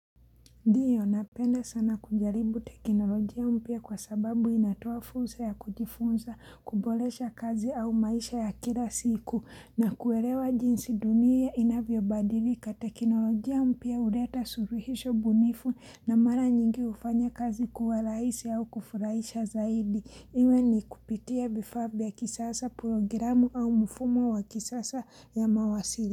Ndiyo napenda sana kujaribu teknolojia mpya kwa sababu inatoa fuursa ya kujifunza kuboresha kazi au maisha ya kila siku na kuwelewa jinsi dunia inavyo badili kata teknolojia mpya huleta suluhisho bunifu na mara nyingi hufanya kazi kuwa rahisi au kufurahisha zaidi. Iwe ni kupitia vifaa vya kisasa programu au mfumo wa kisasa ya mawasiliano.